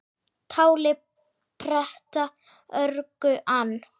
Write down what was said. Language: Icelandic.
Táli pretta örgu ann